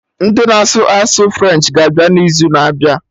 Ndị na-asụ asụsụ French ga-abịa n'izu na-abịa